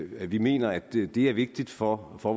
vi mener at det er vigtigt for for